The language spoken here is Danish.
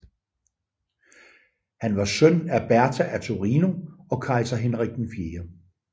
Han var søn af Bertha af Torino og kejser Henrik 4